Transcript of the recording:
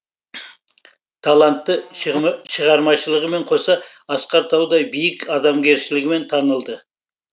талантты шығармашылығымен қоса асқар таудай биік адамгершілігімен танылды